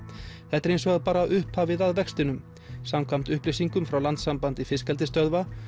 þetta er hins vegar bara upphafið að vextinum samkvæmt upplýsingum frá Landssambandi fiskeldisstöðva